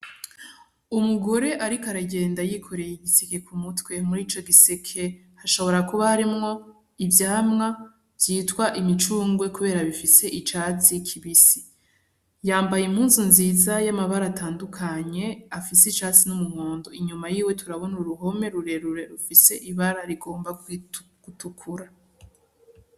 Umugore ariko aragenda yikoreye igiseke ku mutwe, muri ico giseke hashobora kuba harimwo ivyamwa vyitwa imicungwe kubera bifise icatsi kibisi, yambaye impuzu nziza y'amabara atandukanye afise icatsi n'umuhondo, inyuma yiwe turabona uruhome rurerure rufise ibara rigomba gutukura.